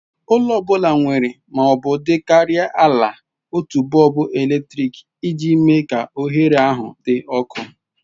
Ụlọ ọ bụla nwere ma ọ dịkarịa ala otu bọlbụ eletrik iji mee ka oghere ahụ dị ọkụ.